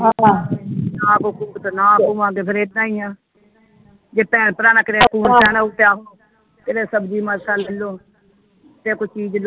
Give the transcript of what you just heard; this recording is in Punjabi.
ਆਪ ਨਾ ਹੋਵੇਗਾ ਫਿਰ ਇੱਦਾਂ ਈ ਆ ਜੇ ਭੈਣ ਭਰਾਵਾਂ ਨਾ ਕਰਿਆ ਕਿਤੇ ਸਬਜੀ ਮਾਸਾ ਲ ਲੋ ਜੇ ਕਿਤੇ ਕੋਈ ਚੀਜ ਲੋੜ।